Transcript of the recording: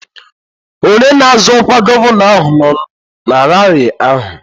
Onye na-azọ ọkwa gọvanọ ahụ nọ na raarị ahụ